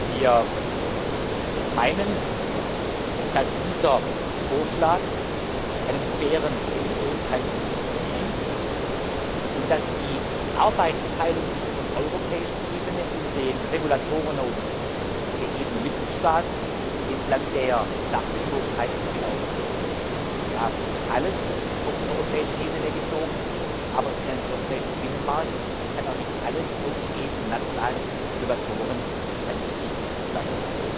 Wir meinen, dass dieser Vorschlag einem fairen Emissionshandel dient und die Arbeitsteilung zwischen der europäischen Ebene und den Regulatoren auf der Ebene der Mitgliedstaaten nach Maßgabe der Sachbezogenheit festgelegt wurde. Wir haben nicht alles auf die europäische Ebene gezogen, aber in einem europäischen Binnenmarkt kann auch nicht alles auf der Ebene der nationalen Regulatoren angesiedelt sein.